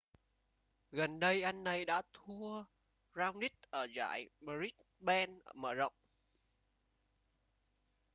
gần đây anh ấy đã thua raonic ở giải brisbane mở rộng